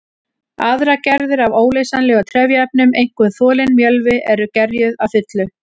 Aðrar gerðir af óleysanlegum trefjaefnum, einkum þolinn mjölvi, eru gerjuð að fullu.